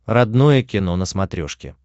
родное кино на смотрешке